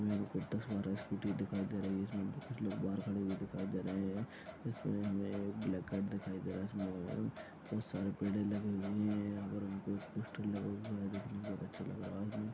यहांँ कुछ दस बारह स्कूटी दिखाई दे रही है जिसमें ब-कुछ लोग बाहर खड़े हुए दिखाई दे रहे हैं इसमें इसने एक ब्लैक दिखाई दे रहा है इसमें बहोत सारे पेड़े लगे हुए हैं यहाँ पर हमको एक पोस्टर लगा हुआ है देखने में बहोत अच्छा लग रहा है और --